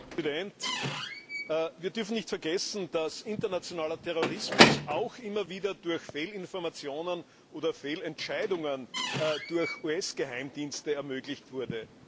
Herr Präsident! Wir dürfen nicht vergessen, dass der internationale Terrorismus auch immer wieder durch Fehlinformationen oder durch Fehlentscheidungen der US Geheimdienste ermöglicht wurde.